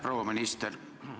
Proua minister!